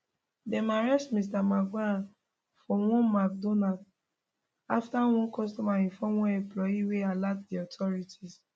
dem arrest mr mangione for one mcdonalds afta one customer inform one employee wey alert di authorities